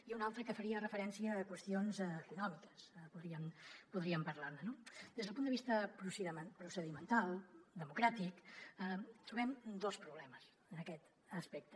i un altre que faria referència a qüestions econòmiques podríem parlar ne no des del punt de vista procedimental democràtic trobem dos problemes en aquest aspecte